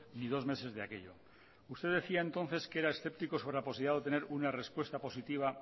ni dos meses de aquello usted decía entonces que era escéptico sobre la posibilidad de obtener una respuesta positiva